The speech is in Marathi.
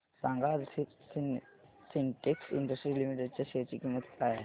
सांगा आज सिन्टेक्स इंडस्ट्रीज लिमिटेड च्या शेअर ची किंमत काय आहे